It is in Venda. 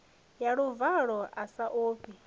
na luvalo a sa ofhi